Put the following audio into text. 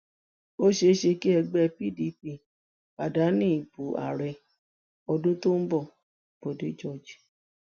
ó ṣeé ṣe kí ẹgbẹ pdp pàdánù ìbò ààrẹ ọdún tó ń bo bodè george